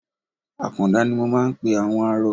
Àkàndá ni mo máa ń pe àwọn arọ.